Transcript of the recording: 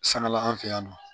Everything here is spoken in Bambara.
Sangala an fɛ yan nɔ